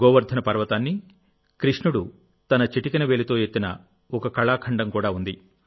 గోవర్ధన పర్వతాన్ని కృష్ణుడు తన చిటికెన వేలితో ఎత్తిన ఒక కళాఖండం కూడా ఉంది